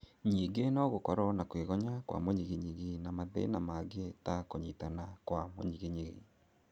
Nyingi no gũkorwo na kwĩgonya kwa mũnyiginyigi na mathĩna mangĩ ta kũnyitana kwa mũnyiginyigi